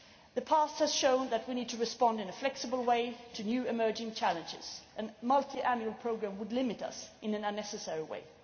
The past has shown that we need to respond in a flexible way to new emerging challenges, and a multiannual programme would limit us in an unnecessary